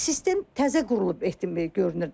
Sistem təzə qurulub görünür.